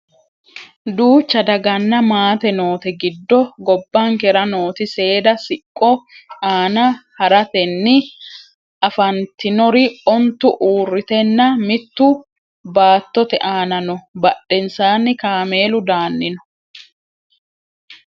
duucha daganna maate noote giddo gobbankera nooti seeda siqqo aana haratenni afantinori ontu uurriteenna mittu baattote aana no badhensaanni kameelu daanni no